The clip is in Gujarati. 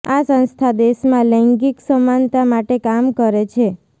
આ સંસ્થા દેશમાં લૈંગિક સમાનતા માટે કામ કરે છે